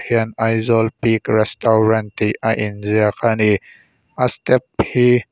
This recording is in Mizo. hian aizawl peak restaurant tih a in ziak ani a step hi--